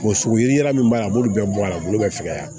sogo ye min b'a a b'olu bɛɛ bɔ a la a bolo bɛ fɛ ka yan